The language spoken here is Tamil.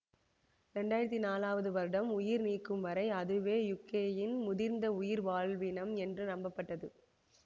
இரண்டு ஆயிரத்தி நாலாவது வருடம் உயிர் நீக்கும் வரை அதுவே யுகேயின் முதிர்ந்த உயிர்வாழினம் என்று நம்பப்பட்டது